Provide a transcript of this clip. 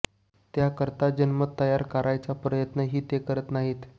त्याकरता जनमत तयार करायचा प्रयत्न ही ते करीत नाहीत